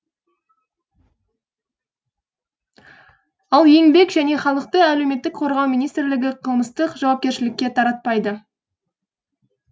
ал еңбек және халықты әлеуметтік қорғау министрлігі қылмыстық жауапкершілікке тартпайды